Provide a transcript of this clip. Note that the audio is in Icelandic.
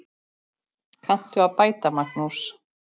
Kanntu að bæta, Magnús?